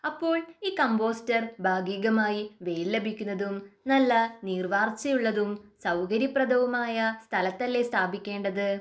അപ്പോൾ ഈ കമ്പോസ്റ്റ് ഭാഗികമായി വെയിൽ ലഭിക്കുന്നതും നല്ല നീർവാർച്ചയുള്ളതും സൗകര്യപ്രദവുമായ സ്ഥലത്തല്ലേ സ്ഥാപിക്കേണ്ടത്?